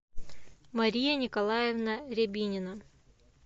мария николаевна рябинина